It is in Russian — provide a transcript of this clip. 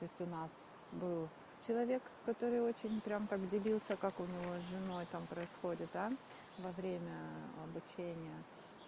то есть у нас был человек который очень прям как делился как у него с женой там происходит да во время обучения